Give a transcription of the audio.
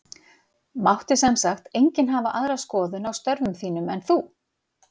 Mátti sem sagt enginn hafa aðra skoðun á störfum þínum en þú?